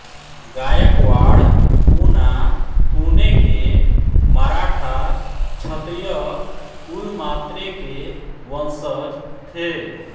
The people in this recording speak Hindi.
गायकवाड़ पूना पुणे के मराठा क्षत्रिय कुल मात्रे के वंशज थे